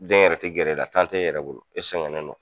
Den yɛrɛ ti gɛrɛ e la tan t'e yɛrɛ bolo e sɛgɛn ne do